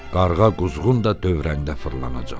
Qarğa quzğun da dövrəndə fırlanacaq.